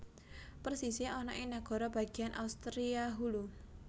Persisé ana ing nagara bagéan Austria Hulu